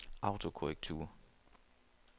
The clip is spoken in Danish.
autokorrektur